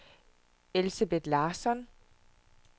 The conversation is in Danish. Elsebeth Larsson